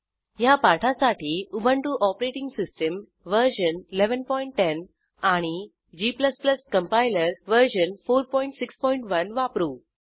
ह्या पाठासाठी Ubuntu OS version 1110 आणि g कंपाइलर वर्जन 461 वापरू